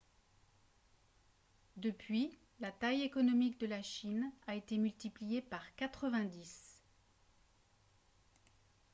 depuis la taille économique de la chine a été multipliée par 90